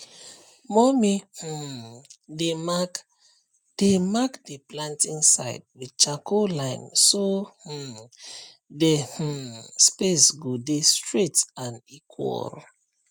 mummy um dey mark dey mark the planting side with charcoal line so um the um space go dey straight and equal